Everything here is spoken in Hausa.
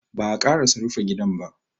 Ba'a ƙarasa rufa gidan ba.